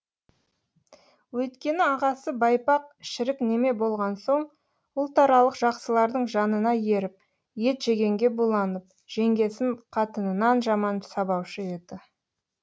өйткені ағасы байпақ шірік неме болған соң ұлтарақ жақсылардың жанына еріп ет жегенге буланып жеңгесін қатынынан жаман сабаушы еді